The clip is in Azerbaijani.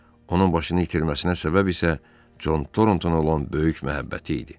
Onun başını itirməsinə səbəb isə Con Torontoa olan böyük məhəbbəti idi.